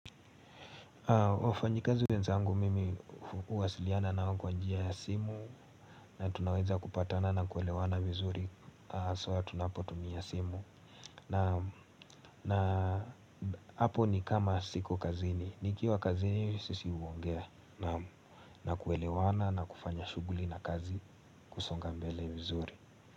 Wafanyikazi wenzangu mimi huwasiliana nao kwa njia ya simu na tunaweza kupatana na kuelewana vizuri sawa tunapotumia simu na hapo ni kama siko kazini nikiwa kazini sisi huongea na kuelewana na kufanya shughuli na kazi kusonga mbele vizuri.